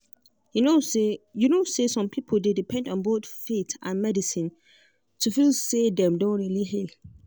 you know say you know say some people dey depend on both faith and medicine to feel say dem don really heal.